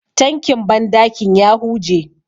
tankin bandakin ya huje